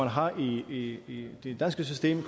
har i det danske system